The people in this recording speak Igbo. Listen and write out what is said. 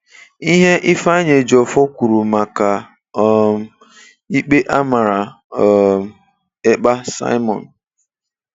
Ihe Ifeanyi Ejiofor kwuru maka um ikpe a mara um Ekpa Simon.